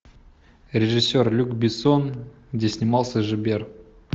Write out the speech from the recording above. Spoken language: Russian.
режиссер люк бессон где снимался жибер